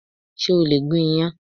Ṣé o lè gun iyan?